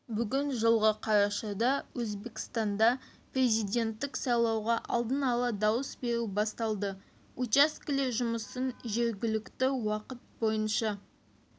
бүгін жылғы қарашада өзбекстанда президенттік сайлауға алдын ала дауыс беру басталды учаскелер жұмысын жергілікті уақыт бойынша